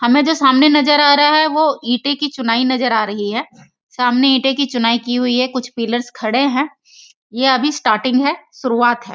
हमें जो सामने नजर आ रहा है वो ईटें की चुनाई नजर आ रही है सामने ईटें की चुनाई की हुई है कुछ पिलरस खड़े हैं यह अभी स्टार्टिंग है शुरुआत है।